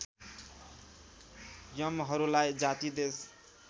यमहरूलाई जाति देश